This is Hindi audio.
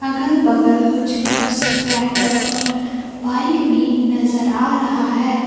अगल बगल कुछ बस ट्रैक्टर और बाइक भी नजर आ रहा है।